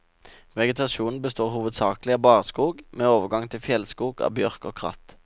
Vegetasjonen består hovedsakelig av barskog, med overgang til fjellskog av bjørk og kratt.